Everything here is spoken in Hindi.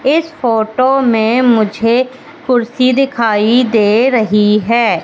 इस फोटो में मुझे कुर्सी दिखाई दे रही है।